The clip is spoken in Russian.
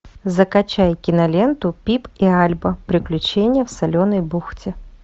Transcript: закачай киноленту пип и альба приключения в соленой бухте